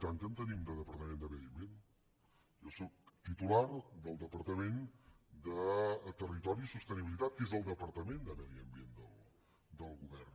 i tant que en tenim de departament de medi ambient jo sóc titular del departament de territori i sostenibilitat que és el departament de medi ambient del govern